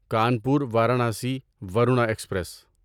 Kanpur Varanasi Varuna express